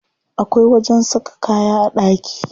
Akwai wajen saka kaya a ɗaki.